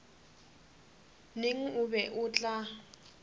neng o be o tla